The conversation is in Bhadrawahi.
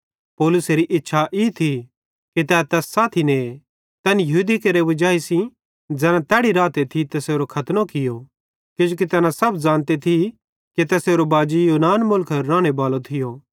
पौलुसेरी इच्छा ई थी कि तै तैस साथी ने तैन यहूदी केरि वजाई ज़ैना तैड़ी रहते तैसेरो खतनो कियो किजोकि तैना सब ज़ानते थी कि तैसेरो बाजी यूनान मुलखेरो रानेबालो थियो